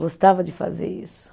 Gostava de fazer isso.